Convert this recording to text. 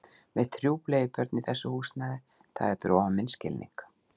Með þrjú bleiubörn í þessu húsnæði, það er fyrir ofan minn skilning